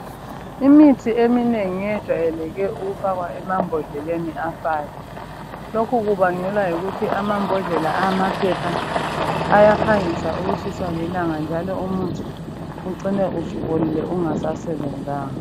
Imithi eminengi yejwayele ukufakwa emambodleleni afayo. Lokhu kubangelwa yikuthi amambodlela amaphepha ayaphangisa ukutshiswa lilanga njalo umuthi ucine usubolile ungasasebenzanga..